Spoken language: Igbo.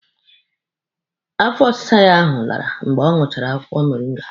Afọ ọsịsa ya ahụ lara mgbe ọ ṅụchara akwụkwọ moringa.